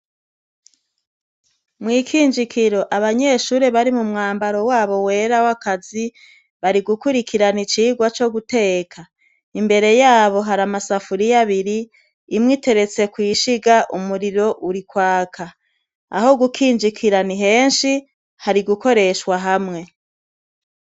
Mw' ikinjikiro abanyeshure bari mu mwambaro wabo wera w'akazi bari gukurikana icigwa co guteka. Imbere y'abo hari amasafuriya abiri; imwe iteretse kw'ishiga, umuriro uri kwaka. Aho gukinjikira ni henshi, hari gukoreshwa hamwe.